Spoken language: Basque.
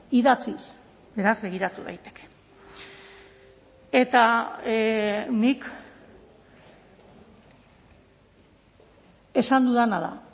idatziz beraz begiratu daiteke eta nik esan dudana da